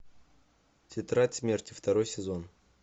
тетрадь смерти второй сезон